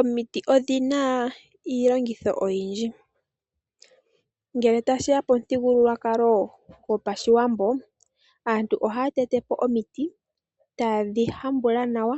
Omiti odhina iilongitho oyindji. Ngele tashiya pomuthigululwakalo go paShiwambo aantu ohaya tetepo omiti taye dhihongo nawa